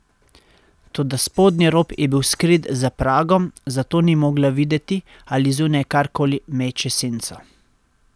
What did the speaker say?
Toda spodnji rob je bil skrit za pragom, zato ni mogla videti, ali zunaj karkoli meče senco.